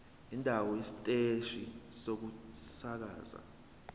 indawo isiteshi sokusakaza